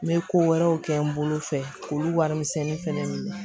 N bɛ ko wɛrɛw kɛ n bolo fɛ k'olu warimisɛnnin fana